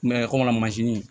kɔmi mansin